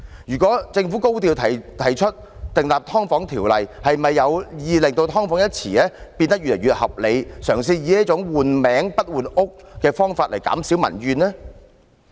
如果政府高調提出訂立有關"劏房"的條例，是否有意令"劏房"一詞變得越來越合理，嘗試以這種"換名不換屋"的方法來減少民怨呢？